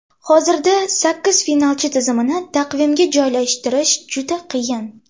Hozirda sakkiz finalchi tizimini taqvimga joylashtirish juda qiyin.